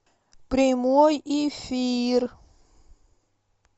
прямой эфир